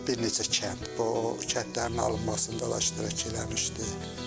Bir neçə kənd, bu kəndlərin alınmasının dolaşdırıcaq eləmişdi.